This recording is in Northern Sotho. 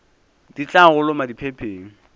di tla go loma diphepheng